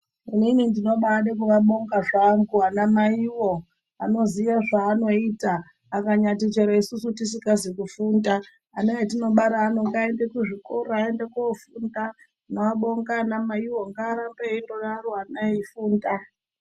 Inini ndinombaide kuvabonga zvangu ana mai voo vanoziva zvavanoite akanyati chero isusu tisingazi kufunda, ana atinobara edu ngaaende kuzvikoro aende kofunda tinobonga ana mai woo ngaarambe eingodaro ana eifunda.